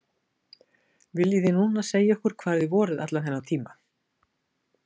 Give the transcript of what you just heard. Viljið þið núna segja okkur hvar þið voruð allan þennan tíma?